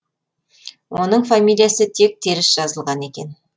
оның фамилиясы тек теріс жазылған екен